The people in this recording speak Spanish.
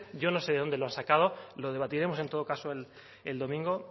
yo no sé de dónde lo han sacado lo debatiremos en todo caso el domingo